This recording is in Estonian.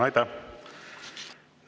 Aitäh!